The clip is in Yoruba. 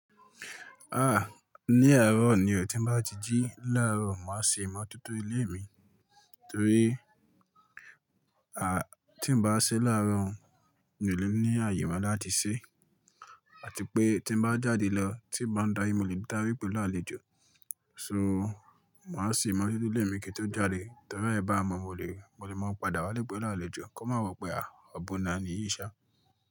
Ah! Ní àárọ̀ ni ò tí n bá ti jí. Láàárọ̀ màá ṣe ìmọ́tótó ilé mí, torí tí n bá ṣe láàárọ̀, mi ò lè ní àyè mọ́ láti ṣe. À ti pé tí n bá jáde lọ, tí n bá ń darí, mo lè darí pèlú àlejò. So màá ṣe ìmọ́tótó ilé mi kí n tó jáde? Torí ẹ bá mọ̀, mo lè, mo lè mọ́ padà wá pèlú àlejò, kí o má wọ̀ pẹ́ ah ọ̀bun ni eniyin yíṣá.